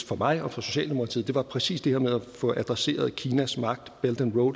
for mig og for socialdemokratiet er præcis det her med at få adresseret kinas magt